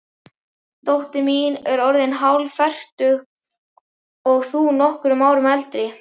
Dóttir mín er orðin hálffertug og þú nokkrum árum eldri.